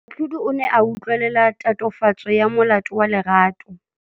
Moatlhodi o ne a utlwelela tatofatsô ya molato wa Lerato.